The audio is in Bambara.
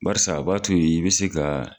Barisa a b'a to i bi se ka